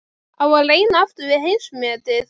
Á að reyna aftur við heimsmetið?